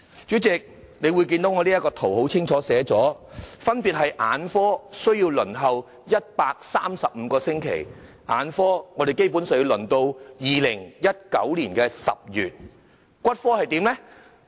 主席，你可以看到我這幅圖表清楚列明，眼科的輪候時間是135個星期，基本上要輪候至2019年10月；骨科又怎樣呢？